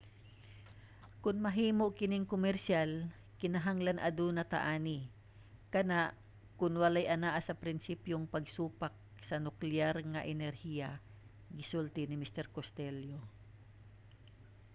"kon mahimo kining komersyal kinahanglan aduna ta ani. kana kon walay anaa sa prinsipyong pagsupak sa nukleyar nga enerhiya gisulti ni mr. costello